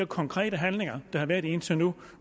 konkrete handlinger der har været indtil nu